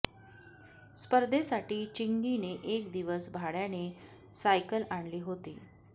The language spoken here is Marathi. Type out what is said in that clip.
स्पर्धे साठी चिंगी ने एक दिवस भाड्याने सायकल आणली होती